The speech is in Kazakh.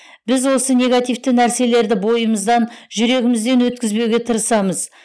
біз осы негативті нәрселерді бойымыздан жүрегімізден өткізбеуге тырысамыз